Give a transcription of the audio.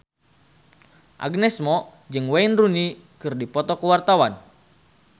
Agnes Mo jeung Wayne Rooney keur dipoto ku wartawan